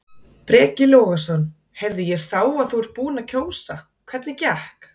Breki Logason: Heyrðu ég sá að þú ert búinn að kjósa, hvernig gekk?